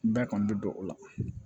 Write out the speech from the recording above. Bɛɛ kɔni bɛ don o la